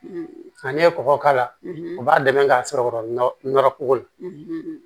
Nka ne ye kɔkɔ k'a la o b'a dɛmɛ k'a sɔrɔ nɔrɔ koko la